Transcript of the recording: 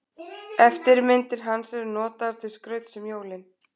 Eftirmyndir hans eru notaðar til skrauts um jólin.